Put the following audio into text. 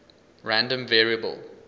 random variable